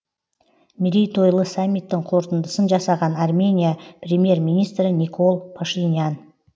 мерейтойлы саммиттің қорытындысын жасаған армения премьер министрі никол пашинян